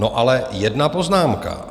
No ale jedna poznámka.